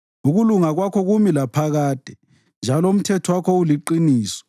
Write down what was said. Ukulunga kwakho kumi laphakade njalo umthetho wakho uliqiniso.